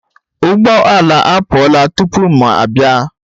Ụgbọ ala apụọla tupu m abịa